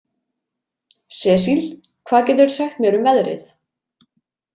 Cecil, hvað geturðu sagt mér um veðrið?